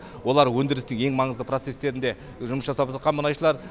олар өндірістік ең маңызды процестарінде жұмыс жасап жатқан мұнайшылар